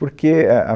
Porque a a